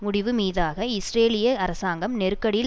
முடிவு மீதாக இஸ்ரேலிய அரசாங்கம் நெருக்கடியில்